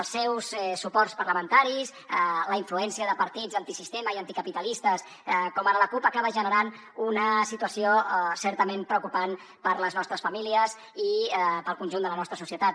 els seus suports parlamentaris la influència de partits antisistema i anticapitalistes com ara la cup acaba generant una situació certament preocupant per a les nostres famílies i per al conjunt de la nostra societat